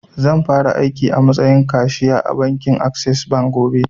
Zan fara aiki a matsayin kashu ya a bankin assess gobe